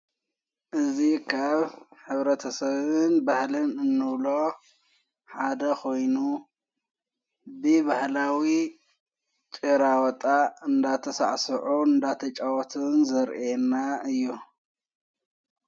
እዙ ኻብ ኅብረ ተሰብን ባህልን እኖብሎ ሓደ ኾይኑ ብባህላዊ ጭራወጣ እንዳተ ሠዕስዑ እንዳተ ጨዖትን ዘርአየና እዩ።